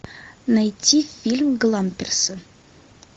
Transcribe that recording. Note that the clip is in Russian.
найти фильм гламперсы